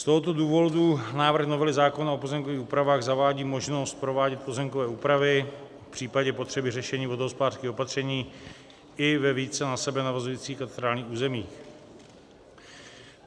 Z tohoto důvodu návrh novely zákona o pozemkových úpravách zavádí možnost provádět pozemkové úpravy v případě potřeby řešení vodohospodářských opatření i ve více na sebe navazujících katastrálních územích.